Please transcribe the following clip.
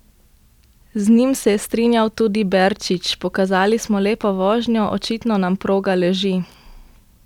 Z njim se je strinjal tudi Berčič: "Pokazali smo lepo vožnjo, očitno nam proga leži.